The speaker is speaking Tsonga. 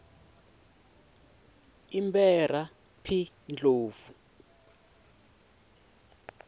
i mberha p ndlovu